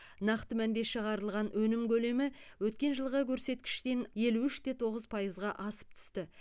нақты мәнде шығарылған өнім көлемі өткен жылғы көрсеткіштен елу үш те тоғыз пайызға асып түсті